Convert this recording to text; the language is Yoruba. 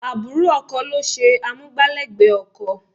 Àbúrò ọkọ ló ṣe amúgbálẹ́gbẹ̀ẹ́ ọkọ.